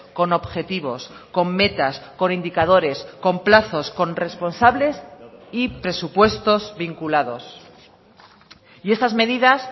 con objetivos con metas con indicadores con plazos con responsables y presupuestos vinculados y estas medidas